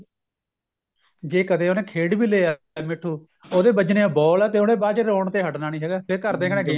ਜੇ ਕਦੇ ਉਹਨੇ ਖੇਡ ਵੀ ਲਿਆ ਮਿੱਠੂ ਉਹਦੇ ਵੱਜਣੀ ਏ ball ਤੇ ਉਹਨੇ ਬਾਅਦ ਚ ਰੋਣ ਤੇ ਹਟਣਾ ਨੀ ਹੈਗਾ ਤੇ ਘਰਦੇ ਕਹਿੰਦੇ ਗੇਮ